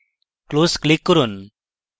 close click করুন